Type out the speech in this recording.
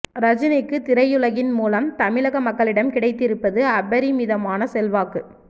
ரஜினிக்கு திரையுலகின் மூலம் தமிழக மக்களிடம் கிடைத்திருப்பது அபரிமிதமான செல்வாக்கு